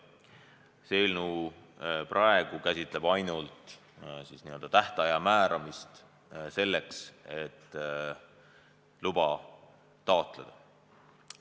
Praegune eelnõu käsitleb ainult tähtaja määramist selleks, et luba taotleda.